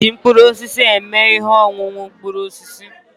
Ha ga-eji mkpụrụ osisi eme ihe ọṅụṅụ mkpụrụ osisi